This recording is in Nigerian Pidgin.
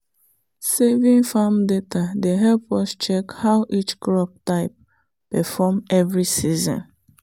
saving farm data dey help us check how each crop type perform every season.